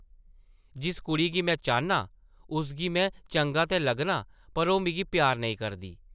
जिस कुड़ी गी में चाह्न्नां, उसगी में चंगा ते लग्गना पर ओह् मिगी प्यार नेईं करदी ।